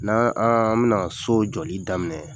N'an an bɛna so jɔli daminɛ